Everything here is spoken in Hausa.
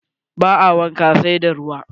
Ba a wanka, sai da ruwa.